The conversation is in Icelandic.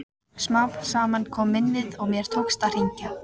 Smám saman kom minnið og mér tókst að hringja.